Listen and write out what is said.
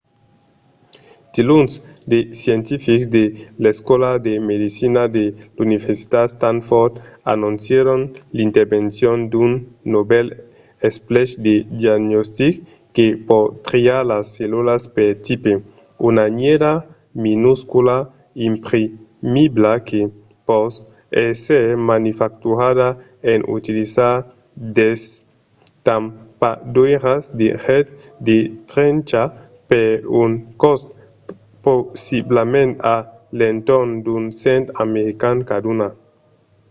diluns de scientifics de l'escòla de medecina de l'universitat stanford anoncièron l'invencion d'un novèl esplech de diagnostic que pòt triar las cellulas per tipe: una nièra minuscula imprimibla que pòt èsser manufacturada en utilizar d'estampadoiras de get de tencha per un còst possiblament a l'entorn d'un cent american caduna